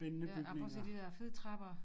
Ja ej prøv at se de der fede trapper